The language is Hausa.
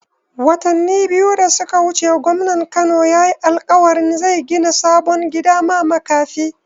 Watani biyu da suka wuce gwamnan Kano yayi alƙawarin zai gina sabon gida ma makafi